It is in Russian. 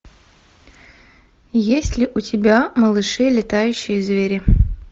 есть ли у тебя малыши летающие звери